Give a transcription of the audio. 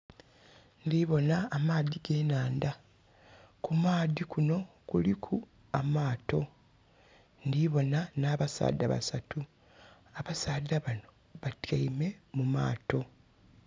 Ndhi bona amaadhi g'enhandha. Ku maadhi kuno kuliku amaato. Ndhi bona n'abasaadha basatu. Abasaadha bano batyaime mu maato.